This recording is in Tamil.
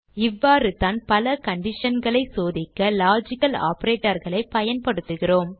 இவ்வாறுதான் பல conditionகளை சோதிக்க லாஜிக்கல் operatorகளை பயன்படுத்துகிறோம்